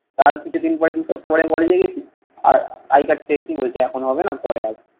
তার কিছুদিন পরে দু সপ্তাহ পরে আমি কলেজে গেছি। আর আই কার্ড পেয়েছি। বলছে এখন হবে না। পরে আসো।